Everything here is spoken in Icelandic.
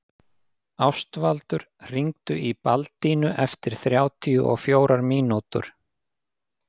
Ástvaldur, hringdu í Baldínu eftir þrjátíu og fjórar mínútur.